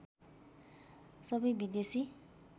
सबै विदेशी